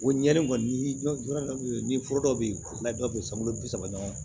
O ɲɛɲini kɔni n'i bɔra ni foro dɔ bɛ yen n'a dɔ bɛ yen sanbulu bi saba ɲɔgɔn